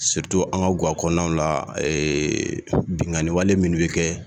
an ka gwa kɔnɔnaw la binkaniwale minnu bɛ kɛ.